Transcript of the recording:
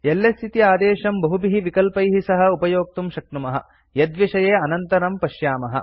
LS इति आदेशं बहुभिः विकल्पैः सह उपयोक्तुं शक्नुमः यद्विषये अनन्तरं पश्यामः